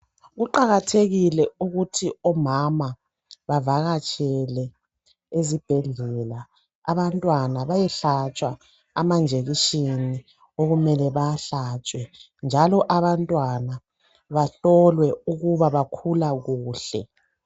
Kuqakathekile ukuthi omama bavakatshele ezibhedlela. Abantwana bayehlatshwa amanjekishini okumele bawahlatshwe .Njalo abantwana bahlolwe ukuba bakhula kuhle.